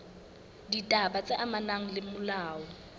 ditaba tse amanang le molao